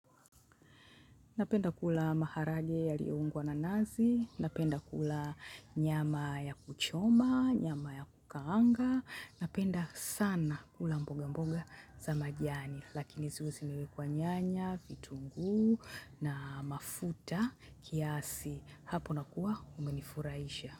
Napenda kula maharage yalioungwa na nazi, napenda kula nyama ya kuchoma, nyama ya kukanga, napenda sana kula mboga mboga za majiani. Lakini ziwe zimewekwa nyanya, vitunguu na mafuta kiasi. Hapo na kuwa umenifurahisha.